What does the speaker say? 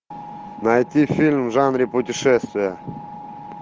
найти фильм в жанре путешествия